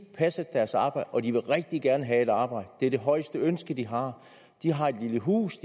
passet deres arbejde og de vil rigtig gerne have et arbejde det er det højeste ønske de har de har et lille hus